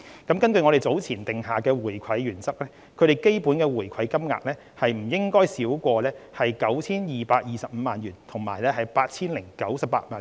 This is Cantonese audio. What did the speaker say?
根據我們早前訂下的回饋原則，它們的基本回饋金額不應該少於 9,225 萬元及 8,098 萬元。